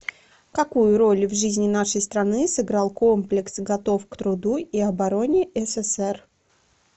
какую роль в жизни нашей страны сыграл комплекс готов к труду и обороне ссср